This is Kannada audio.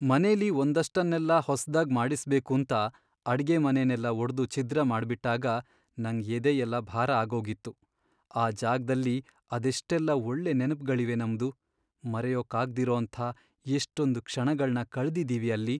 ಮನೆಲಿ ಒಂದಷ್ಟನ್ನೆಲ್ಲ ಹೊಸ್ದಾಗ್ ಮಾಡಿಸ್ಬೇಕೂಂತ ಅಡ್ಗೆಮನೆನೆಲ್ಲ ಒಡ್ದು ಛಿದ್ರ ಮಾಡ್ಬಿಟ್ಟಾಗ ನಂಗ್ ಎದೆಯೆಲ್ಲ ಭಾರ ಆಗೋಗಿತ್ತು. ಆ ಜಾಗ್ದಲ್ಲಿ ಅದೆಷ್ಟೆಲ್ಲ ಒಳ್ಳೆ ನೆನ್ಪ್ಗಳಿವೆ ನಮ್ದು, ಮರೆಯೋಕಾಗ್ದಿರೋಂಥ ಎಷ್ಟೊಂದ್ ಕ್ಷಣಗಳ್ನ ಕಳ್ದಿದೀವಿ ಅಲ್ಲಿ.